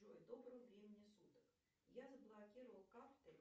джой доброго времени суток я заблокировала карты